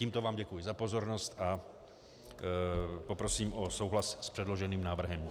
Tímto vám děkuji za pozornost a poprosím o souhlas s předloženým návrhem.